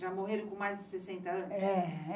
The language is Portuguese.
Já morreram com mais de sessenta anos?